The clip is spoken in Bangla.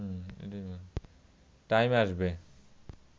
টাইম আসবে